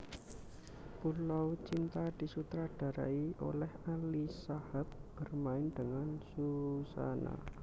Pulau Cinta disutradarai oleh Ali Shahab bermain dengan Suzanna